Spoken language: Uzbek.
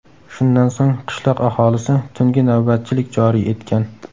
Shundan so‘ng qishloq aholisi tungi navbatchilik joriy etgan.